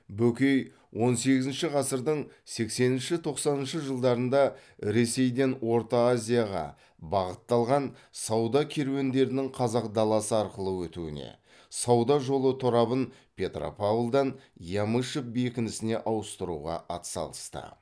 бөкей он сегізінші ғасырдың сексенінші тоқсаныншы жылдарында ресейден орта азияға бағытталған сауда керуендерінің қазақ даласы арқылы өтуіне сауда жолы торабын петропавлдан ямышев бекінісіне ауыстыруға атсалысты